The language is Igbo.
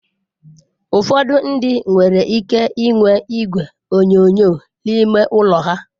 Ụfọdụ ndị nwere ike inwe igwe onyonyo n'ime ụlọ ha.